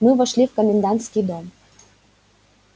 мы вошли в комендантский дом